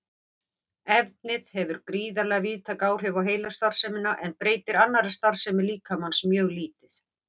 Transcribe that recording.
Efnið hefur gríðarlega víðtæk áhrif á heilastarfsemina en breytir annarri starfsemi líkamans mjög lítið.